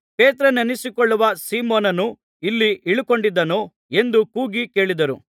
ಪೇತ್ರನೆನಿಸಿಕೊಳ್ಳುವ ಸೀಮೋನನು ಇಲ್ಲಿ ಇಳುಕೊಂಡಿದ್ದಾನೋ ಎಂದು ಕೂಗಿ ಕೇಳಿದರು